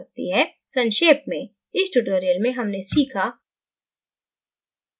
संक्षेप में इस tutorial में हमने सीखा: